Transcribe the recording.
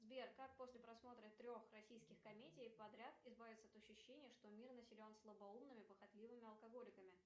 сбер как после просмотра трех российских комедий подряд избавиться от ощущения что мир населен слабоумными похотливыми алкоголиками